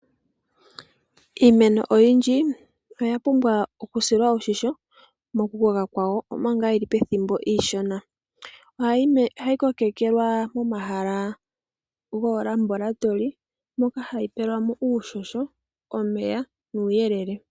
Iimeno oyindji oya pumbwa oku silwa oshimpwiyu mokukoka kwawo omanga yili pethimbo ishona. Ohayi kokekelwa momahala golabolatory moka hayi pelwa mo uushosho, omeya nuuyelele.